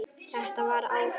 Þetta var áfall.